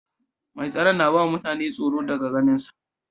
Mai tsaron na ba mutane tsoro da ganin sa.